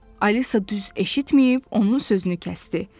Alisa düz eşitməyib, onun sözünü kəsdi.